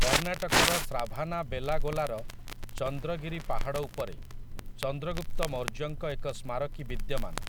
କର୍ଣ୍ଣାଟକର ଶ୍ରାଭାନାବେଲାଗୋଲାର ଚନ୍ଦ୍ରଗିରି ପାହାଡ଼ ଉପରେ ଚନ୍ଦ୍ରଗୁପ୍ତ ମୌର୍ଯ୍ୟଙ୍କ ଏକ ସ୍ମାରକୀ ବିଦ୍ୟମାନ ।